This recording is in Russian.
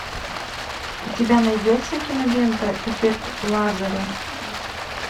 у тебя найдется кинолента эффект лазаря